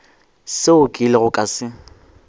seo ke ilego ka se